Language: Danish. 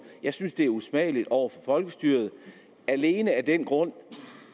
jeg synes det er usmageligt over for folkestyret alene af den grund